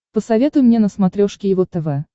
посоветуй мне на смотрешке его тв